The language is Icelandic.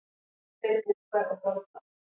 Tveir búkkar og borðplata.